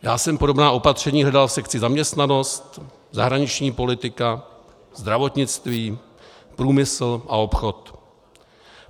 Já jsem podobná opatření hledal v sekci zaměstnanost, zahraniční politika, zdravotnictví, průmysl a obchod.